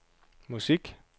musik